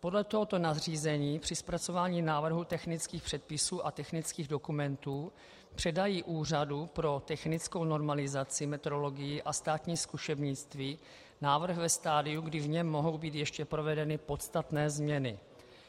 Podle tohoto nařízení při zpracování návrhu technických předpisů a technických dokumentů předají Úřadu pro technickou normalizaci, metrologii a státní zkušebnictví návrh ve stadiu, kdy v něm mohou být ještě provedeny podstatné změny,